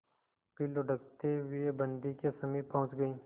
फिर लुढ़कते हुए बन्दी के समीप पहुंच गई